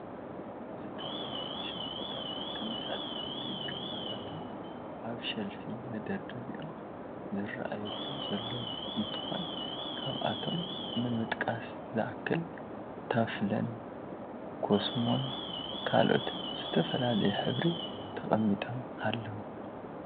ዝተፈላለዩ ሻምፖታትን ተመሳሰለቲ ቅብአታትን አብ ሸልፍ ተደርዲሮም ዝረአዩሉ ዘለዉ እንትኮን ካብአቶም ንምጥቃስ ዝአከል ታፍለን፣ ኮስሞን ካልኦትን ብዝተፈላለየ ሕብሪ ተቀሚጦም አለዉ፡፡